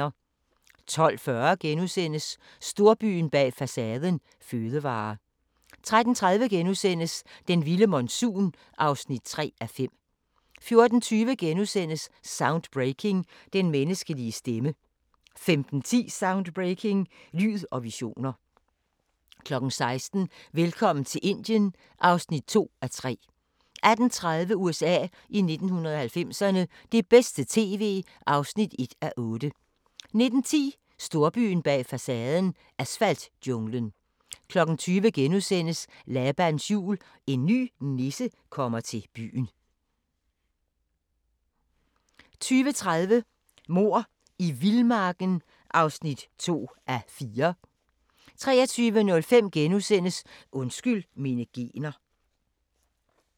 12:40: Storbyen bag facaden – fødevarer * 13:30: Den vilde monsun (3:5)* 14:20: Soundbreaking – Den menneskelige stemme * 15:10: Soundbreaking – Lyd og visioner 16:00: Velkommen til Indien (2:3) 18:30: USA i 1990'erne – det bedste tv (1:8) 19:10: Storbyen bag facaden – asfaltjunglen 20:00: Labans Jul – En ny nisse kommer til byen (1:4)* 20:30: Mord i vildmarken (2:4) 23:05: Undskyld mine gener *